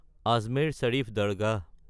Ajmer Sharif Dargah